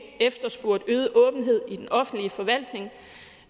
efterspurgt øget åbenhed i den offentlige forvaltning